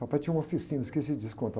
Papai tinha uma oficina, esqueci disso, contar